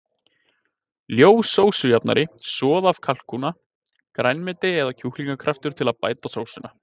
Ljós sósujafnari, soð af kalkúna, grænmeti eða kjúklingakraftur til að bæta sósuna.